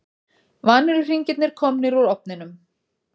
Vanilluhringirnir komnir úr ofninum.